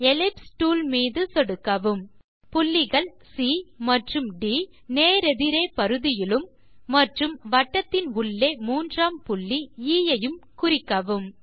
ellipse tool மீது சொடுக்கவும் புள்ளிகள் சி மற்றும் ட் நேரெதிராக பரிதியிலும் மற்றும் வட்டத்தின் உள்ளே மூன்றாம் புள்ளி எ ஐயும் குறிக்கவும்